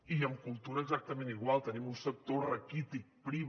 i amb cultura exactament igual tenim un sector raquític prim